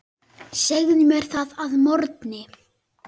Segðu mér það að morgni.